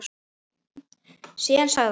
Síðan sagði hann